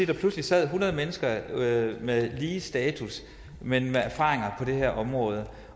der pludselig sad hundrede mennesker med lige status men med erfaringer på det her område